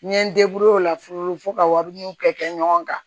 N ye n o la furu fo ka wariw kɛ ɲɔgɔn kan